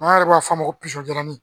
An yɛrɛ b'a fɔ a ma ko